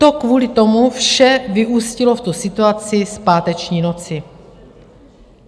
To kvůli tomu vše vyústilo v tu situaci z páteční noci.